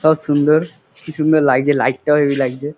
সব সুন্দর কি সুন্দর লাগছে লাইট -টাও হেবি লাগছে ।